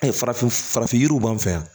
Ayi farafin farafin yiriw b'an fɛ yan